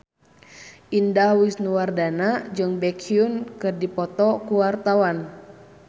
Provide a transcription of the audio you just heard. Indah Wisnuwardana jeung Baekhyun keur dipoto ku wartawan